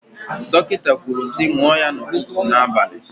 Dọkịta kwuru sị ṅụọ ya ụtụtụ na abalị.